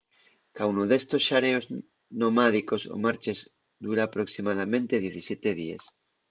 caunu d’estos xareos nomádicos o marches dura aproximadamente 17 díes